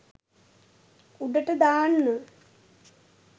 උඩට දාන්න